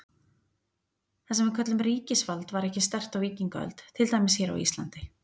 Það sem við köllum ríkisvald var ekki sterkt á víkingaöld, til dæmis hér á Íslandi.